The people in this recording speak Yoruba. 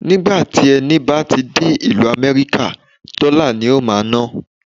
Ni ìgbà tí ẹni bá ti dé ìlú Amẹ́ríkà, dọ́là ni o máa ná.